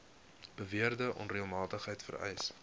beweerde onreëlmatigheid vereis